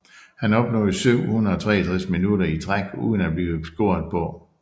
Han opnåede 763 minutter i træk uden af blive scoret på